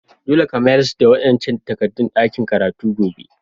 Dolle ka mayars da wa'incan takadun dakin karatu gobe!